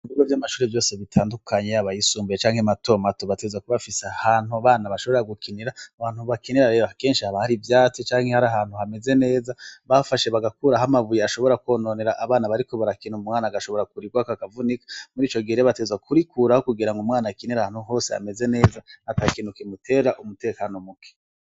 Ibigo vyamashure vyose bitandukanye yaba ayisumbuye canke mato mato bategerezwa kuba bafise ahantu abana bashobora gukinira muhantu bakinira rero akenshi haba hari ivyatsi canke abarahantu hameze neza bafashe bagakuraho amabuye ashobora kononera abana bariko barakina umwana agashobora kurirwako akavunika murico gihe rero bategerezwa kurikuraho kugira ngo umwana akinire ahantu hose hameze neza atakintu kimutera umutekano muke